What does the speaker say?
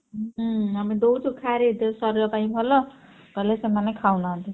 ହୁଁ ଆମେ ଦଉଛୁ ଖାରେ ପାଇଁ ଭଲ କହିଲେ ସେମାନେ ଖାଉନାହାନ୍ତି।